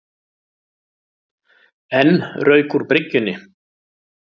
Enn rauk úr bryggjunni